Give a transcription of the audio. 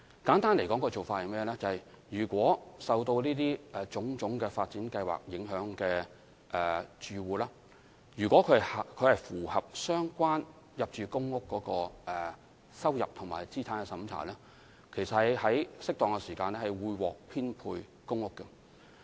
簡單而言，對於受種種發展計劃影響的住戶，如果他們符合入住公屋的入息和資產審查等的相關條件，在適當時間便會獲編配公屋。